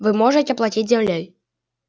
вы можете платить землёй